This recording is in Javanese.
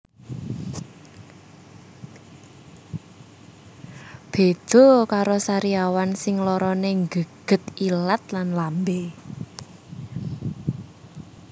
Beda karo sariawan sing larane nggeget ilat lan lambe